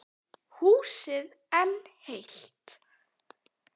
Húsið enn heilt.